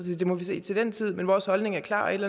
det må vi se til den tid men vores holdning er klar og et